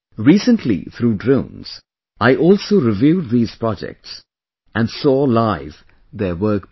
Recently, through drones, I also reviewed these projects and saw live their work progress